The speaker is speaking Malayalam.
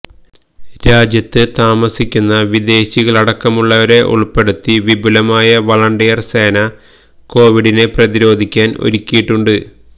രാജ്യത്ത് താമസിക്കുന്ന വിദേശികളടക്കമുള്ളവരെ ഉൾപ്പെടുത്തി വിപുലമായ വളണ്ടിയർ സേന കോവിഡിനെ പ്രതിരോധിക്കാൻ ഒരുക്കിയിട്ടുണ്ട്